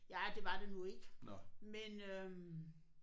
Ja det var det nu ikke men øh